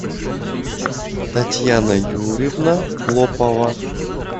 татьяна юрьевна клопова